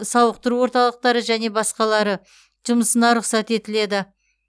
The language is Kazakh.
сауықтыру орталықтары және басқалары жұмысына рұқсат етіледі